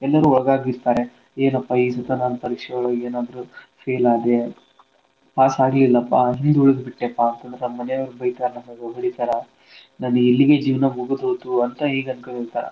ಎಲ್ಲಾರೂ ಒಳಗಾಗಿರ್ತಾರೆ. ಏನಪಾ ಈಸತ ನಾನ್ ಪರೀಕ್ಷೆ ಒಳಗ್ ಏನಾದ್ರೂ fail ಆದೆ pass ಆಗ್ಲಿಲ್ಲಪ್ಪಾ ಹಿಂದ್ ಉಳ್ದ್ ಬಿಟ್ಟೆಪಾ ಅಂತಂದ್ರ ನಮ್ಮನೇಯ್ವ್ರು ಬೈತಾರ ಹೊಡೀತಾರ ನನ್ ಇಲ್ಲಿಗೇ ಜೀವ್ನ ಮುಗುದ್ ಹೋತೂ ಅಂತ ಈಗ್ ಅಂದ್ಕೊಂಡಿರ್ತಾರ.